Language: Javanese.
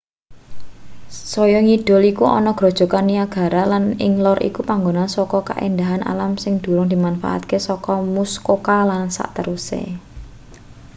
saya ngidul iku ana grojogan niagara lan ing lor iku panggonan saka kaendahan alam sing durung dimanfaatake saka muskoka lan sakteruse